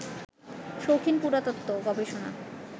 শৌখিন পুরাতত্ত্ব, গবেষণা